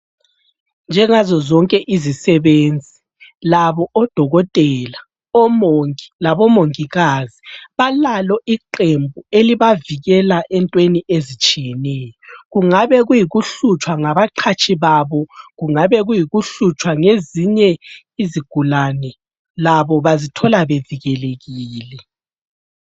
Njengazo zonke izisebenzi labo odokotela labomongikazi balalo iqembu elibavikela entweni ezitshiyeneyo kungabe kuyikuhlutshwa ngabaqhatshi babo kungabe kuyikuhlutshwa ngezinye izigulane labo bazithola bevikelekile.